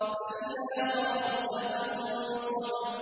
فَإِذَا فَرَغْتَ فَانصَبْ